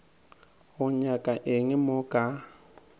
tlo nyaka eng mo ka